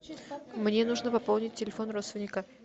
мне нужно пополнить телефон родственника